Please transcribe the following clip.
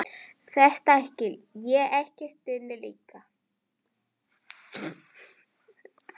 Þetta skil ég ekki stundi Lilla.